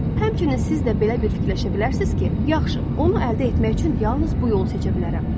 Həmçinin siz də belə bir fikirləşə bilərsiniz ki, yaxşı, onu əldə etmək üçün yalnız bu yolu seçə bilərəm.